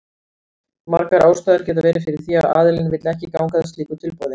Margar ástæður geta verið fyrir því að aðilinn vill ekki ganga að slíku tilboði.